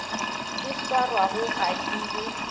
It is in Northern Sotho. di swarwago ga di be